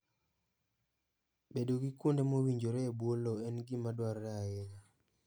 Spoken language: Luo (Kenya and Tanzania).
Bedo gi kuonde mowinjore e bwo lowo en gima dwarore ahinya.